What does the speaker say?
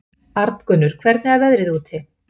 Arngunnur, hvernig er veðrið úti?